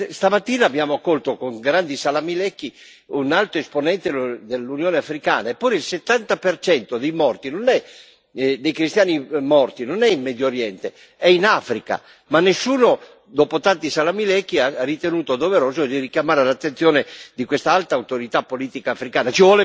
Stamattina abbiamo accolto con grandi salamelecchi un alto esponente dell'Unione africana, eppure il 70 per cento dei cristiani morti non è in Medio Oriente, è in Africa, ma nessuno, dopo tanti salamelecchi, ha ritenuto doveroso richiamare l'attenzione di quest'alta autorità politica africana.